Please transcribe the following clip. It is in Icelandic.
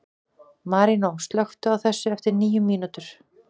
Marínó, slökktu á þessu eftir níu mínútur.